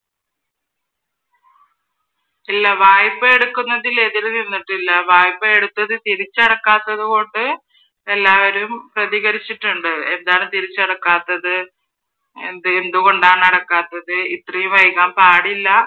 ഇല്ല വായ്പ എടുക്കുന്നതിൽ എതിർ നിന്നിട്ടില്ല വായ്പ എടുത്തത് തിരിച്ചടക്കാത്തത് കൊണ്ട് എല്ലാവരും പ്രതികരിച്ചിട്ടുണ്ട് എന്താണ് തിരിച്ചടക്കാത്തത് എന്തെ എന്തുകൊണ്ടാണ് അടക്കാത്തത് ഇത്രയും വൈകാൻ പാടില്ല